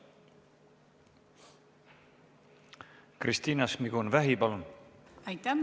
Kristina Šmigun-Vähi, palun!